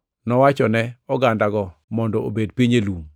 Nowachone ogandago mondo obed piny e lum.